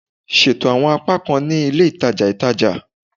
Ṣeto awọn apakan ni ile itaja itaja